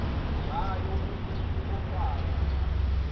ngayo umutu ofayo